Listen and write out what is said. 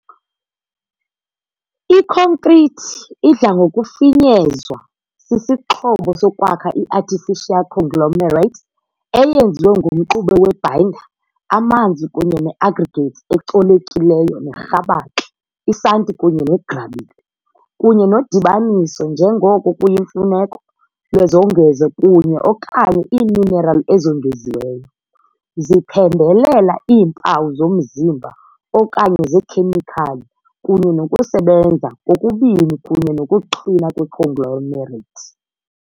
Ikhonkrithi idla ngokufinyezwa sisixhobo sokwakha, i-artificial conglomerate eyenziwe ngumxube we -binder, amanzi kunye ne -aggregates ecolekileyo nerhabaxa, isanti kunye negrabile, kunye nodibaniso, njengoko kuyimfuneko, lwezongezo kunye - okanye iiminerali ezongeziweyo. Ziphembelela iimpawu zomzimba okanye zekhemikhali, kunye nokusebenza, kokubini kunye nokuqina kwe-conglomerate.